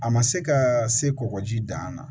A ma se ka se kɔkɔji dan na